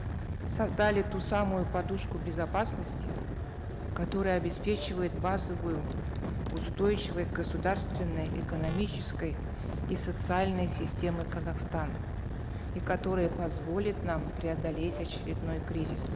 создали ту самую подушку безопасности которая обеспечивает базовую устойчивость государственной экономической и социальной системы казахстана и которая позволит нам преодолеть очередной кризис